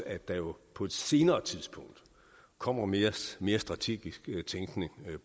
at der på et senere tidspunkt kommer mere mere strategisk tænkning ind